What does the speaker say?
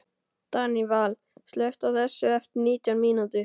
Daníval, slökktu á þessu eftir nítján mínútur.